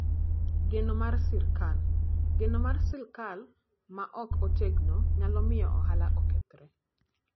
Geno mar Sirkal: Geno mar sirkal ma ok otegno nyalo miyo ohala okethre.